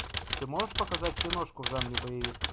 ты можешь показать киношку в жанре боевик